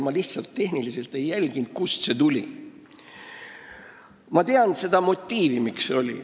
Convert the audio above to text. Ma ei jälginud tehniliselt, kust see tuli, aga ma tean seda motiivi.